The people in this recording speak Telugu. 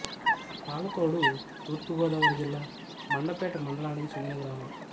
పాలతోడు తూర్పు గోదావరి జిల్లా మండపేట మండలానికి చెందిన గ్రామం